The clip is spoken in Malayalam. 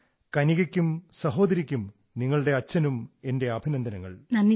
so my congratulations to you your sister and your father and your family